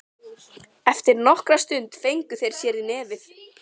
Eftir nokkra stund fengu þeir sér í nefið.